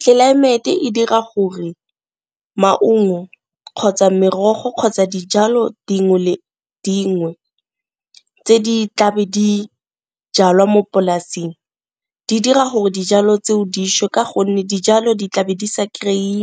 Tlelaemete e dira gore maungo kgotsa merogo, kgotsa dijalo dingwe le dingwe tse di tla be di jalwa mo polasing di dira gore dijalo tseo dišwe ka gonne dijalo di tlabe di sa kry-e